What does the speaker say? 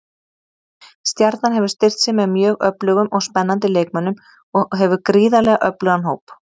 Stjarnan hefur styrkt sig með mjög öflugum og spennandi leikmönnum og hefur gríðarlega öflugan hóp.